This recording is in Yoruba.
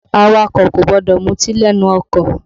Awakọ̀ kò gbọdọ̀ muti lẹ́nu ọkọ̀